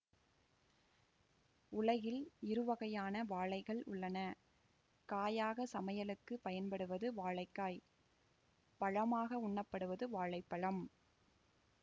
உலகில் இருவகையான வாழைகள் உள்ளன காயாக சமையலுக்கு பயன்படுவது வாழைக்காய் பழமாக உண்ணப்படுவது வாழை பழம்